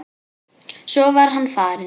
Svo var hann farinn.